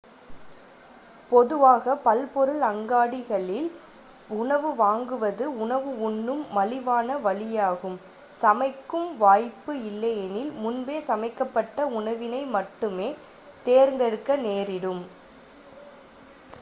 பொதுவாக பல்பொருள் அங்காடிகளில் உணவு வாங்குவது உணவு உண்ணும் மலிவான வழியாகும் சமைக்கும் வாய்ப்பு இல்லையெனில் முன்பே சமைக்கப்பட்ட உணவினை மட்டுமே தேர்தெடுக்க நேரிடும்